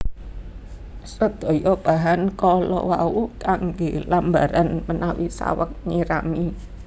Sedaya bahan kala wau kanggè lambaran menawi saweg nyirami